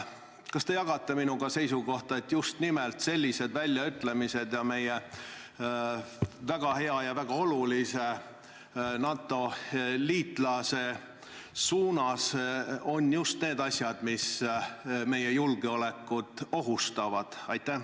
Kas te jagate minu seisukohta, et just nimelt sellised väljaütlemised meie väga hea ja väga olulise NATO liitlase kohta on just need asjad, mis meie julgeolekut ohustavad?